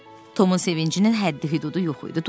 Tomun sevincinin həddi-hüdudu yox idi.